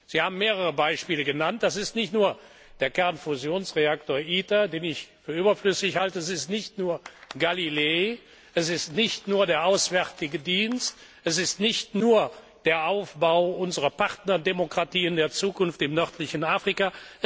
Sie haben mehrere Beispiele genannt Das ist nicht nur der Kernfusionsreaktor ITER, den ich für überflüssig halte, es ist nicht nur GALILEO, es ist nicht nur der Auswärtige Dienst, es ist nicht nur der Aufbau unserer Partnerdemokratien der Zukunft im nördlichen Afrika.